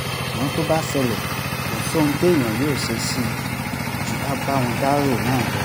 ṣùgbọ́n tó bá ṣẹlẹ̀ kò sóhun téèyàn yóò ṣe sí i ju ká bá wọn dárò náà lọ